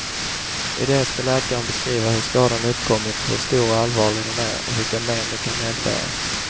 I det ska läkaren beskriva hur skadan uppkommit, hur stor och allvarlig den är och vilka men den kan medföra.